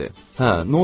Hə, nə olsun axı?